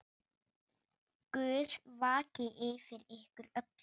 Guð vaki yfir ykkur öllum.